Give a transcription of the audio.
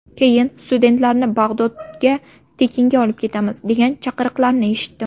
Keyin ‘Studentlarni Bag‘dodga tekinga olib ketamiz’, degan chaqiriqlarni eshitdim.